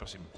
Prosím.